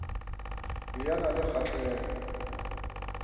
be a na le kgahlego